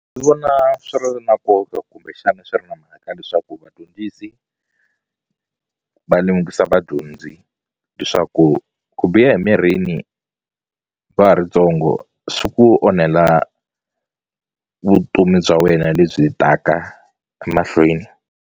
Ndzi vona swi ri na nkoka kumbexani swi ri na mhaka leswaku vadyondzisi va lemukisa vadyondzi leswaku ku biha emirini va ha ri ntsongo swi ku onhela vutomi bya wena lebyi taka emahlweni.